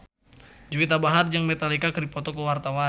Juwita Bahar jeung Metallica keur dipoto ku wartawan